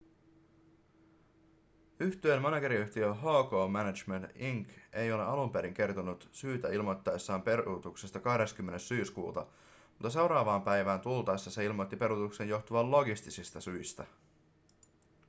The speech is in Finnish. yhtyeen manageriyhtiö hk management inc ei alun perin kertonut syytä ilmoittaessaan peruutuksesta 20 syyskuuta mutta seuraavaan päivään tultaessa se ilmoitti peruutuksen johtuvan logistisista syistä